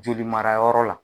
Joli marayɔrɔ la.